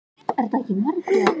Dallilja, hvernig er veðrið úti?